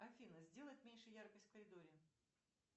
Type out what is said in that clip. афина сделать меньше яркость в коридоре